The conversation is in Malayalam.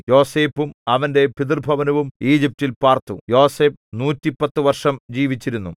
യോസേഫും അവന്റെ പിതൃഭവനവും ഈജിപ്റ്റിൽ പാർത്തു യോസേഫ് നൂറ്റിപ്പത്തു വർഷം ജീവിച്ചിരുന്നു